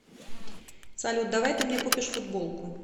салют давай ты мне купишь футболку